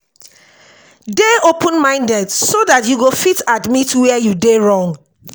dey open minded so dat you go fit admit where you dey wrong